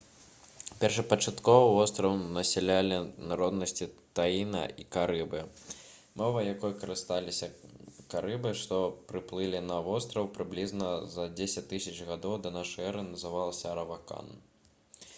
першапачаткова востраў насялялі народнасці таіна і карыбы мова якой карысталіся карыбы што прыплылі на востраў прыблізна за 10 000 гадоў да н э называлася аравакан